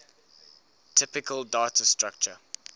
typical data structure